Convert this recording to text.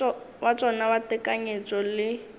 wa tšona wa tekanyetšo le